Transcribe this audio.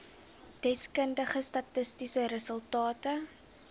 deskundige statistiese resultate